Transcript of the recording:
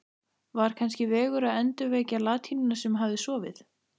Var kannski vegur að endurvekja latínuna sem hafði sofið